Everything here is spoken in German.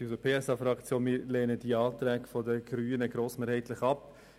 Wir lehnen die Anträge der Grünen grossmehrheitlich ab.